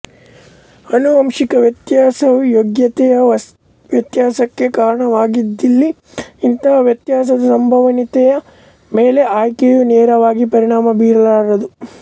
ಅನುವಂಶಿಕ ವ್ಯತ್ಯಾಸವು ಯೋಗ್ಯತೆಯ ವ್ಯತ್ಯಾಸಕ್ಕೆ ಕಾರಣವಾಗದಿದ್ದಲ್ಲಿ ಇಂತಹ ವ್ಯತ್ಯಾಸದ ಸಂಭವನೀಯತೆಯ ಮೇಲೆ ಆಯ್ಕೆಯು ನೇರವಾಗಿ ಪರಿಣಾಮ ಬೀರಲಾರದು